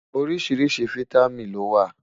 oríṣiríṣi fìtámín ló wà